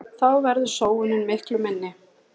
Þá verður sóunin miklu minni.